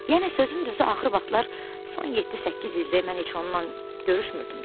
Yəni sözün düzü axır vaxtlar son yeddi-səkkiz ildir mən heç onunla görüşmürdüm də.